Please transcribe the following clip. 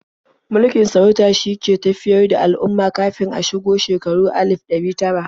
Mulkin sarauta shine ke tafiyar da al'umma kafin a shigo shekarun alif ɗari tara.